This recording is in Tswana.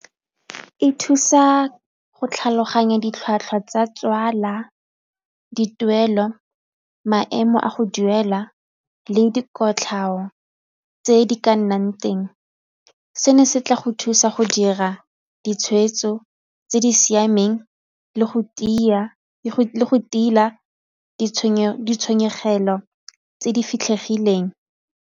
E thusa go tlhaloganya ditlhwatlhwa tsa tswala, dituelo, maemo a go duela le dikotlhao tse di ka nnang. Seno se tla go thusa go dira ditshweetso tse di siameng le go tila ditshenyegelo tse di fitlhegileng.